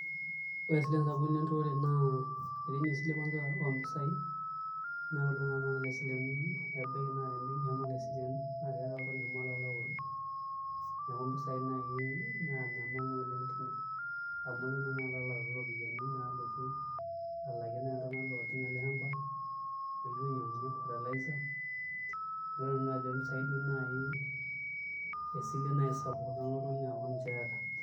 Ore isilen sapukin enturore naa etii ninye esile kwanza oompisaai naashomo oltung'ani aisileno ebaiki naa tembenki eshomo ayau ashu aa oltung'ani eshomo alo aoru neeku mpisaai naa naanyamal oleng' tene amu ilo naa tanakata ayau iropiyiani alotu alakie naa iltung'anak oojing' ele shamba nilo ainyiang'unyie fertiliser nelotu naa esile oompisai aa esile sapuk neeku naa ninye aata.